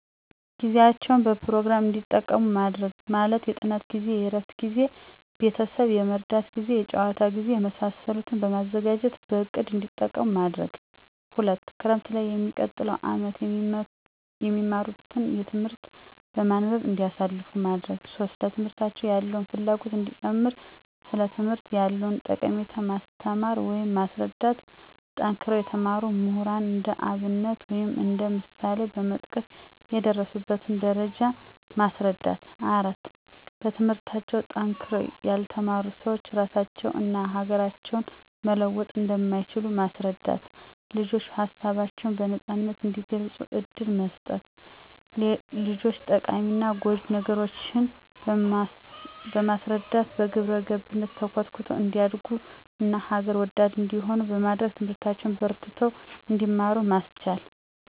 ጊዜያቸዉን በፕሮግራም እዲጠቀሙ ማድረግ። ማለትም የጥናት ጊዜ፣ የእረፍት ጊዜ፣ ቤተሰብ የመርዳት ጊዜ፣ የጨዋታ ጊዜ፣ የመሳሰሉትን በማዘጋጀትበእቅድ እንዲጠቀሙማድረግ። 2)ክረምትላይ የሚቀጥለዉን አመት የሚማትን ትምህርት በማንበብ እንዲያሳልፉ ማድረግ። 3)ለትምህርት ያላቸውን ፍላጎት እንዲጨምር ሥለትምህርት ያለዉንጠቀሜታ ማስተማር ወይም ማስረዳት። ጠንክረው የተማሩ ምሁራን እንደአብነት ወይም እንደ ምሳሌበመጥቀስ የደረሱበትን ደረጃ ማስረዳት። 4)በትምህርታቸዉ ጠንክረዉ ያልተማሩ ስዎች ራሳቸውን እና ሀገራቸውን መለወጥ እንደማይችሉ ማስረዳት። ልጆች ሀሳባቸውን በነጻነት እንዲገልጹ እድል መስጠት። ሌጆች ጠቃሚና ጎጅ ነገሮችን በማስረዳት በግብረገብነት ተኮትኩተው እንዲያደርጉ ና ሀገር ወዳድ እንዲሆኑ በማድረግ ትምህርታቸዉን በርትተው እንዲማሩ ማስቻል።